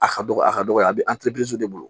A ka dɔgɔ a ka dɔgɔ a bɛ de bolo